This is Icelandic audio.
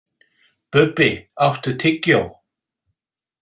Bubbi, áttu tyggjó?